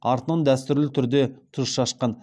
артынан дәстүрлі түрде тұз шашқан